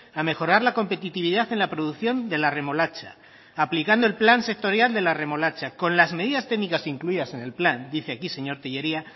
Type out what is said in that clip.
a mejorar la competitividad en la producción de la remolacha aplicando el plan sectorial de la remolacha con las medidas técnicas incluidas en el plan dice aquí señor tellería